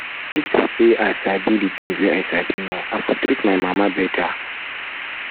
if to say i sabi the things wey i sabi now i for treat my mama better